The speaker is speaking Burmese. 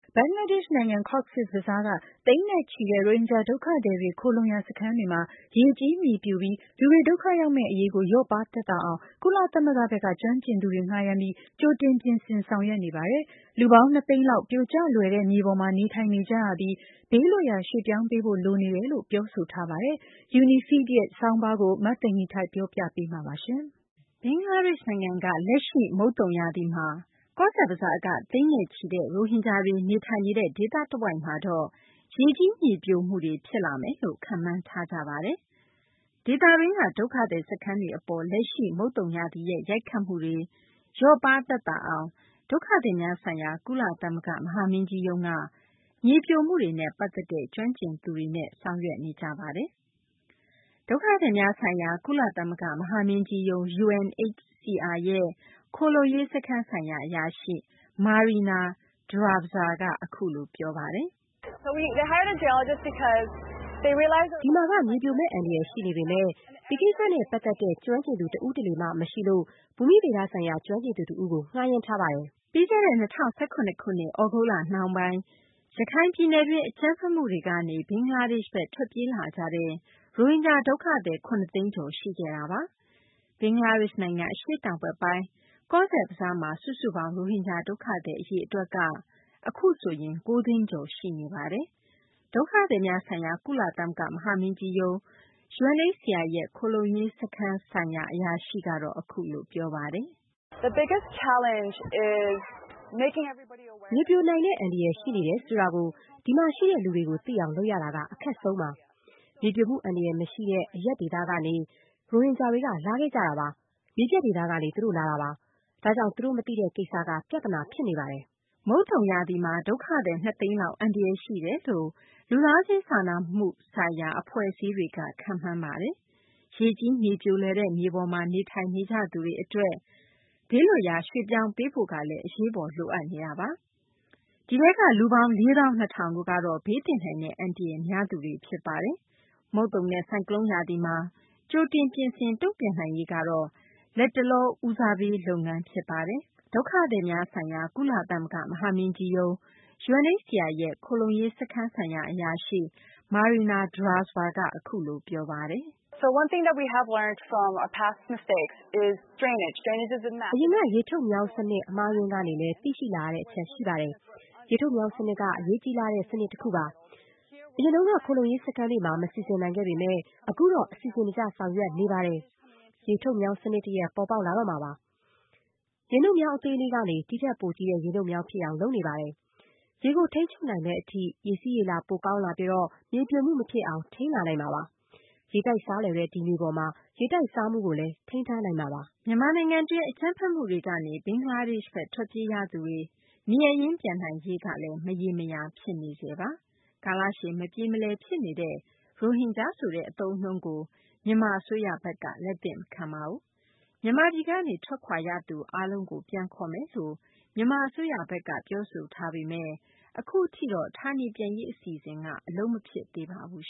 ဘင်္ဂလားဒေရှ့် နိုင်ငံ ကောဇ့်ဘဇားက သိန်းနဲ့ချီတဲ့ ရိုဟင်ဂျာတွေ ခိုလှုံရာ စခန်းတွေမှာ ရေကြီး မြေပြိုပြီး လူတွေ ဒုက္ခရောက်မယ့် အရေးကို လျော့ပါးသက်သာအောင် ကုလသမဂ္ဂဘက်က ကျွမ်းကျင်သူတွေ ငှားယမ်းပြီး ကြိုတင် ပြင်ဆင် ဆောင်ရွက်နေပါတယ်။ လူပေါင်း ၂ သိန်းလောက်က ပြိုကျလွယ်တဲ့ မြေပေါ်မှာ နေထိုင်နေကြရပြီး ဘေးလွတ်ရာ ရွှေ့ပြောင်းပေးဖို့ လိုအပ်နေတယ်လို့လည်း ပြောဆိုထားပါတယ်။ UNIFEED ရဲ့ ဆောင်းပါးကို မသိင်္ဂ ီထိုက် ပြောပြပေးမှာပါ။ ဘင်္ဂလားဒေရှ့် နိုင်ငံက လက်ရှိ မုတ်သုံရာသီမှာ ကောဇ့်ဘဇားက သိန်းနဲ့ချီတဲ့ ရိုဟင်ဂျာတွေ နေထိုင်နေတဲ့ ဒေသတဝိုက်မှာတော့ ရေကြီး မြေပြိုမှုတွေ ဖြစ်လာမယ်လို့ ခန့်မှန်းထားကြပါတယ်။ ဒေသတွင်းက ဒုက္ခသည် စခန်းတွေ အပေါ် လက်ရှိ မုတ်သုံရာသီရဲ့ ရိုက်ခတ်မှုတွေ လျော့ပါး သက်သာအောင် ဒုက္ခသည်များဆိုင်ရာ ကုလသမဂ္ဂ မဟာမင်းကြီးရုံးက မြေပြိုမှုတွေနဲ့ ပတ်သက်တဲ့ ကျွမ်းကျင်သူတွေ ဆောင်ရွက်နေကြပါတယ်။ ဒုက္ခသည်များဆိုင်ရာ ကုလသမဂ္ဂ မဟာမင်းကြီးရုံး UNHCR ရဲ့ ခိုလှုံရေး စခန်းဆိုင်ရာ အရာရှိ Marina Drazba ကတော့ အခုလို ပြောပါတယ်။ "ဒီမှာက မြေပြိုမယ့် အန္တရာယ် ရှိနေပေမယ့် ဒီကိစ္စနဲ့ပတ်သက်တဲ့ ကျွမ်းကျင်သူ တဦးတလေမှ မရှိလို့ ဘူမိဗေဒဆိုင်ရာ ကျွမ်းကျင်သူ တဦးကို ငှားယမ်းထားပါတယ်။" ပြီးခဲ့တဲ့ ၂၀၁၇ ခုနှစ် သြဂုတ်လ နောက်ပိုင်း ရခိုင်ပြည်နယ်တွင်း အကြမ်းဖက်မှုတွေကနေ ဘင်္ဂလားဒေရှ့်ဘက် ထွက်ပြေးလာကြတဲ့ ရိုဟင်ဂျာ ဒုက္ခသည် ၇ သိန်းကျော် ရှိခဲ့ပါတယ်။ ဘင်္ဂလားဒေရှ့် နိုင်ငံ အရှေ့တောင်ဘက်ပိုင်း ကောဇ့်ဘဇားမှာ စုစုပေါင်း ရိုဟင်ဂျာ ဒုက္ခသည် အရေအတွက် အခုဆိုရင် ၉ သိန်းကျော် ရှိနေပါတယ်။ ဒုက္ခသည်များဆိုင်ရာ ကုလသမဂ္ဂ မဟာမင်းကြီးရုံး UNHCR ရဲ့ ခိုလှုံရေး စခန်းဆိုင်ရာ အရာရှိ Marina Drazba ကတော့ အခုလို ပြောပါတယ်။ "မြေပြိုနိုင်တဲ့ အန္တရာယ် ရှိနေတယ်ဆိုတာကို ဒီမှာ ရှိတဲ့ လူတွေကို သိအောင် လုပ်ရတာက အခက်ခဲဆုံးပါ။ မြေပြိုမှု အန္တရာယ် မရှိတဲ့ အရပ်ဒေသကနေ ရိုဟင်ဂျာတွေက လာခဲ့ကြတာပါ။ မြေပြန့်ဒေသကနေ သူတို့လာတာပါ။ ဒါကြောင့် သူတို့ မသိတဲ့ ကိစ္စက ပြသနာ ဖြစ်နေတာပါ။" မုတ်သုံရာသီမှာ ဒုက္ခသည် ၂ သိန်းလောက် အန္တရာယ် ရှိတယ်လို့ လူသားချင်းစာနာကူညီမှု ဆိုင်ရာ အဖွဲ့အစည်းတွေက ခန့်မှန်းထားတာပါ။ ရေကြီး၊ မြေပြိုလွယ်တဲ့ မြေပေါ်မှာ နေထိုင်နေကြသူတွေ အတွက် ဘေးလွတ်ရာ ရွှေ့ပြောင်းပေးဖို့ကလည်း အရေးပေါ် လိုအပ်နေတာပါ။ ဒီထဲက လူပေါင်း ၄ သောင်း ၂ ထောင်တို့ကတော့ ဘေးသင့်နိုင်တဲ့ အန္တရာယ် များသူတွေ ဖြစ်ပါတယ်။ မုတ်သုံနဲ့ ဆိုင်ကလုန်း ရာသီမှာ ကြိုတင်ပြင်ဆင် တုံ့ပြန်နိုင်ရေးကတော့ လတ်တလောမှာ အဓိက ဦးစားပေး လုပ်ငန်း ဖြစ်ပါတယ်။ ဒုက္ခသည်များဆိုင်ရာ ကုလသမဂ္ဂ မဟာမင်းကြီးရုံး UNHCR ရဲ့ ခိုလှုံရေး စခန်းဆိုင်ရာ အရာရှိ Marina Drazba ကတော့ အခုလို ပြောပါတယ်။ "အရင်က ရေထုတ်မြောင်း စနစ် အမှားအယွင်းကနေလည်း သိရှိလာရတဲ့ အချက်ရှိပါတယ်။ ရေထုတ်မြောင်း စနစ်က အရေးကြီးလှတဲ့ ကိစ္စ တခုပါ။ အရင်တုန်းက ခိုလှုံရေး စခန်းတွေမှာ မစီစဉ်နိုင်ခဲ့ပေမယ့် အခုတော့ အစီအစဉ်တကျ ဆောင်ရွက်နေပါတယ်။ ရေထုတ်မြောင်း စနစ်တရပ် ပေါ်ပေါက်လာတော့မှာပါ။ ရေနုတ်မြောင်း အသေးလေးကနေ ဒီထက်ပိုကြီးတဲ့ ရေနုတ်မြောင်း ဖြစ်အောင် လုပ်နေပါတယ်။ ရေကို ထိန်းချုပ်နိုင်မယ့် အထိ ရေစီးရေလာ ပိုကောင်းလာပြီး မြေပြိုမှု မဖြစ်အောင် ထိန်းနိုင်လာမှာပါ။ ရေတိုက်စားလွယ်တဲ့ ဒီမြေပေါ်မှာ ရေတိုက်စားမှုကိုလည်း ထိန်းထားနိုင်မှာပါ။" မြန်မာနိုင်ငံတွင်း အကြမ်းဖက်မှုတွေကနေ ဘင်္ဂလားဒေရှ့်ဘက် ထွက်ပြေးရသူတွေ နေရပ်ရင်း ပြန်နိုင်ရေးကလည်း မရေမရာ ဖြစ်နေဆဲပါ။ ကာလရှည် မပြေမလည် ဖြစ်နေတဲ့ ရိုဟင်ဂျာဆိုတဲ့ အသုံးအနှုန်းကို မြန်မာ အစိုးရဘက်က လက်သင့်မခံပါဘူး။ မြန်မာပြည်ကနေ ထွက်ခွာသွားရသူတွေ အားလုံးကို ပြန်ခေါ်မယ်လို့ ပြောဆိုထားပေမယ့် အခုအထိတော့ ဌာနေပြန်ရေး အစီအစဉ်က အလုပ်မဖြစ်သေးပါဘူး